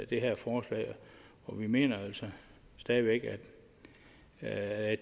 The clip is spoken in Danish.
det her forslag og vi mener altså stadig væk at